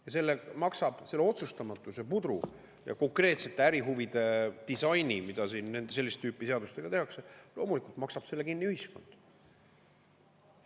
Ja selle selle otsustamatuse pudru ja konkreetsete ärihuvide disaini, mida siin sellist tüüpi seadustega tehakse, loomulikult maksab kinni ühiskond.